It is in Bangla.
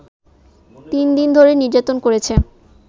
তিন দিন ধরে নির্যাতন করেছে